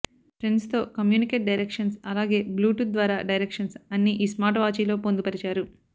friends తో communicate directions అలాగే Bluetooth ద్వారా డైరక్షన్స్ అన్నీ ఈ స్మార్ట్ వాచీలో పొందుపరిచారు